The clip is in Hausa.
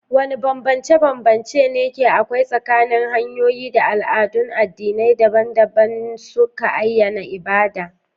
Wani bambance ne ke akwai tsakanin hanyoyi da al'adun addinai dabam-dabam suka ayyana ibada?